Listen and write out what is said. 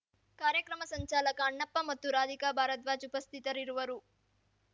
ಕಾರ್ಯಕ್ರಮ ಸಂಚಾಲಕ ಅಣ್ಣಪ್ಪ ಮತ್ತು ರಾಧಿಕಾ ಭಾರದ್ವಾಜ್‌ ಉಪಸ್ಥಿತರಿರುವರು